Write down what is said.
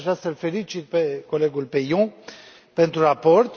De aceea, aș vrea să îl felicit pe colegul Peillon pentru raport.